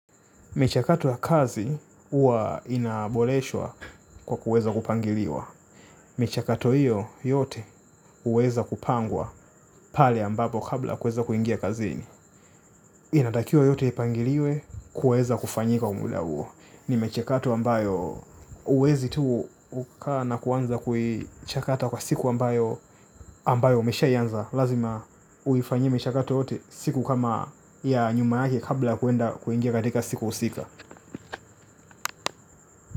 Michakato ya kazi huwa inaboleshwa kwa kuweza kupangiliwa. Michakato hiyo yote huweza kupangwa pale ambapo kabla kuweza kuingia kazini. Inatakiwa yote ipangiliwe kuweza kufanyika kwa mula huo. Ni michakato ambayo huwezi tuu kukaa na kuanza kuichakata kwa siku ambayo ambayo umeshai anza. Lazima uifanyie michakato yote siku kama ya nyuma yake kabla ya kuenda kuingia katika siku husika.